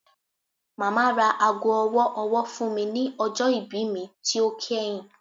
Mama ra aago ọwọ-ọwọ fun mi ni ọjọ ibi mi ti o kẹhin